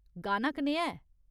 गाना कनेहा ऐ ?